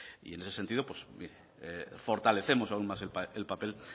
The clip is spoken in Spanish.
y en ese sentido pues mire fortalecemos aún más el papel